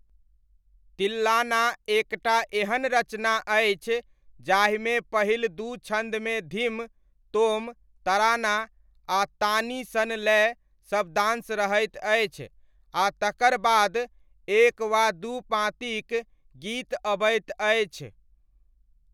तिल्लाना एक टा एहन रचना अछि जाहिमे पहिल दू छन्दमे धिम, तोम, तराना आ तानी सन लय शब्दांश रहैत अछि आ तकर बाद एक वा दू पाँतिक गीत अबैत अछि।